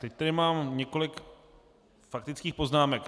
Teď tady mám několik faktických poznámek.